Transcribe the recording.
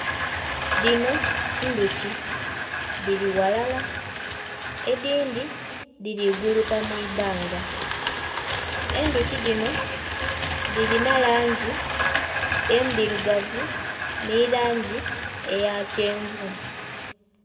Dhino ndhuki dhili ghalala, edhindhi dhiri guluka mu ibbanga. Endhuki dhino dhilina langi endhirugavu nhi langi eya kyenvu.